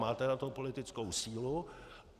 Máte na to politickou sílu.